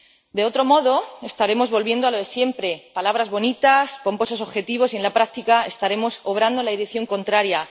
De otro modo, estaremos volviendo a lo de siempre palabras bonitas, pomposos objetivos y, en la práctica, estaremos obrando en dirección contraria.